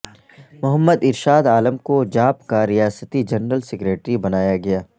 محمد ارشاد عالم کو جاپ کا ریاستی جنرل سکریٹری بنایاگیا